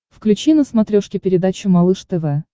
включи на смотрешке передачу малыш тв